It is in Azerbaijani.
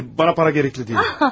Xeyr, xeyr, xeyr, mənə pul lazım deyil.